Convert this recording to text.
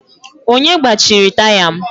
Onye gbachiri taya m?